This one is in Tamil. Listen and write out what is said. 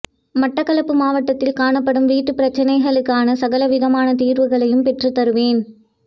மட்டக்களப்பு மாவட்டத்தில் காணப்படும் வீட்டுப் பிரச்சனைகளுக்கான சகல விதமான தீர்வுகளையும் பெற்றுத் தருவேன்